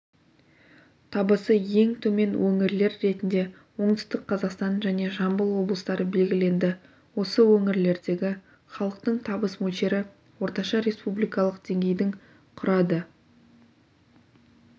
табысы ең төмен өңірлер ретінде оңтүстік қазақстан және жамбыл облыстары белгіленді осы өңірлердегі халықтың табыс мөлшері орташа республикалық деңгейдің құрады